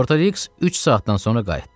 Botoriks üç saatdan sonra qayıtdı.